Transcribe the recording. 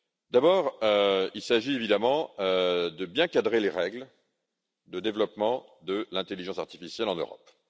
D'abord, il s'agit évidemment de bien cadrer les règles de développement de l'intelligence artificielle en Europe.